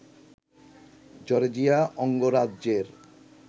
Georgia অঙ্গরাজ্যের